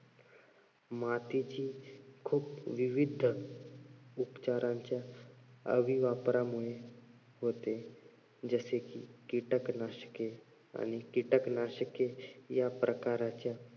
मातीची खूप विविध उपचारांच्या अविवापरामुळे होते. जसे कि कीटकनाशके आणि कीटकनाशके या प्रकारच्या